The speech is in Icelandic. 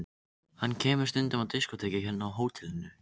Hann kemur stundum á diskótekið hérna á hótelinu.